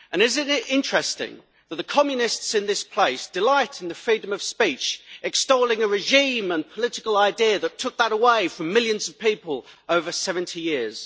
It is interesting that the communists in this place delight in freedom of speech by extolling a regime and political idea that took that away from millions of people over 70 years.